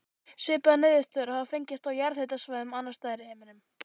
Svipaðar niðurstöður hafa fengist á jarðhitasvæðum annars staðar í heiminum.